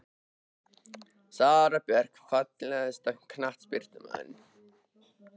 Sara Björk Fallegasti knattspyrnumaðurinn?